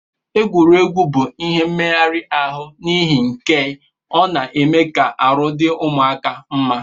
Egwuregwu bu ihe meghari arụ nihi nkea ọna eme ka arụ di ụmụaka mma.